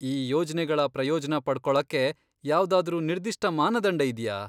ಈ ಯೋಜ್ನೆಗಳ ಪ್ರಯೋಜ್ನ ಪಡ್ಕೊಳಕ್ಕೆ ಯಾವ್ದಾದ್ರೂ ನಿರ್ದಿಷ್ಟ ಮಾನದಂಡ ಇದ್ಯಾ?